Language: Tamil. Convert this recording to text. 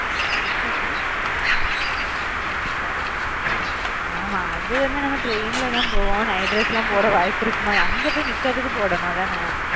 ஆமா அது வந்து நம்ம train ல தான் போவோம் night dress லாம் போட வாய்ப்பு இருக்குமா அங்க பொய் நிக்குறதுக்கு போடணும் அதான